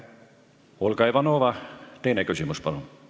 Olga Ivanova, teine küsimus, palun!